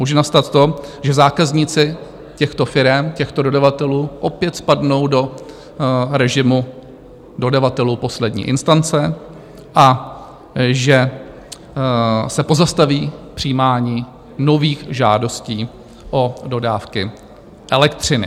Může nastat to, že zákazníci těchto firem, těchto dodavatelů, opět spadnou do režimu dodavatelů poslední instance a že se pozastaví přijímání nových žádostí o dodávky elektřiny.